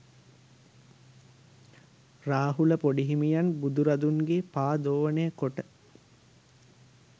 රාහුල පොඩිහිමියන් බුදුරදුන්ගේ පා දෝවනය කොට